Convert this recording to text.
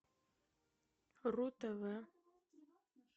ру тв